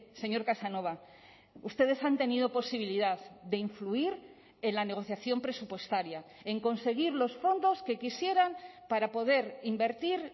señor casanova ustedes han tenido posibilidad de influir en la negociación presupuestaria en conseguir los fondos que quisieran para poder invertir